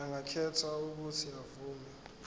angakhetha uuthi avume